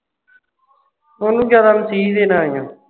ਉਸ ਨੂੰ ਜਿਆਦਾ ਮਸੀਹ ਦੇ ਨਾਲ ਹੀ ਹੈ